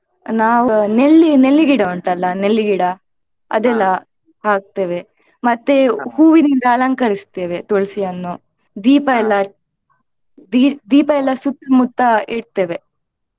ನಾವ್ ನೆಲ್ಲಿ~ ನೆಲ್ಲಿ ಗಿಡ ಉಂಟಲ್ಲ ನೆಲ್ಲಿಗಿಡ ಅದೆಲ್ಲಾ ಹಾಕ್ತೇವೆ ಮತ್ತೆ ಹೂವಿನಿಂದ ಅಲಂಕರಿಸ್ತೇವೆ ತುಳಸಿಯನ್ನು ದೀಪ ಎಲ್ಲ ದೀ~ ದೀಪಯೆಲ್ಲ ಸುತ್ತ್ ಮುತ್ತ ಇಡ್ತೇವೆ.